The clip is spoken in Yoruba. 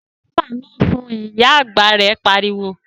Sọ ẹ̀fẹ̀ náà fun', Ìyá àgbà rẹ̀ pariwo